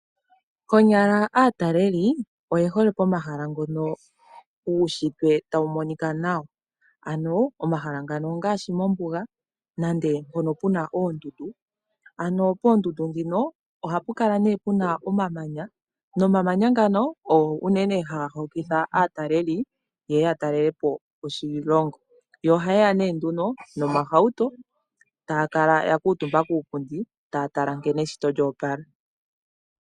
Konyala aataleli oye hole pomahala ngono guunshitwe tawu monika nawa. Ano omahala ngano ongaashi mombuga nande mpono puna oondundu, ano poondundu dhino ohapu kala nee puna omamanya, nomamanya ngano ogo nee haga hokitha aataleli yeye ya talele oshilongo. Yo ohayeya nee nduno nomahauto taya kala ya kuutumba kuupundi taya tala nkene eshito lyoopala.